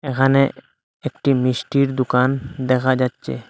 এখানে একটি মিষ্টির দোকান দেখা যাচ্ছে।